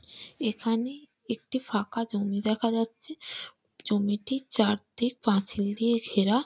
এখানে একটি ফাঁকা জমি দেখা যাচ্ছে জমিটির চারদিক পাঁচিল দিয়ে ঘেরা ।